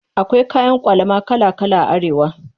Akwai kayan ƙwalama kala kala a Arewa.